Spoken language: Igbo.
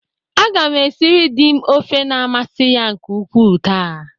Aga m esiri dị m ofe na-amasị ya nke ukwu taa.